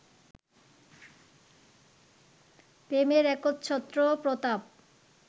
প্রেমের একচ্ছত্র প্রতাপ